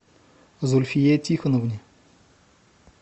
зульфие тихоновне